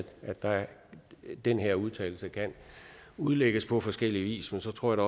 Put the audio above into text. den her udtalelse kan udlægges på forskellig vis men så tror jeg